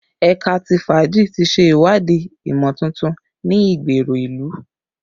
Ẹka ti faaji ti ṣe iwadii imotuntun ni igbero ilu